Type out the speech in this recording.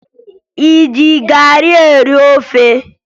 Ị ji garị eri ofe?